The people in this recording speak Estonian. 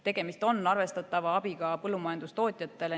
Tegemist on arvestatava abiga põllumajandustootjatele.